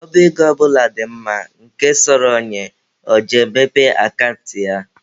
Ọba ego ọ bụla dị mma, nke sọrọ onye, ọ je mepee akant na ya.